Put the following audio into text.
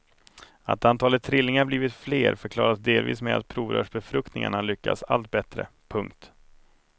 Att antalet trillingar blivit fler förklaras delvis med att provrörsbefruktningarna lyckas allt bättre. punkt